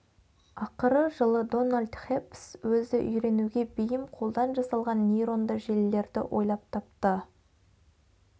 ақыры жылы дональд хеббс өзі үйренуге бейім қолдан жасалған нейронды желілерді ойлап тапты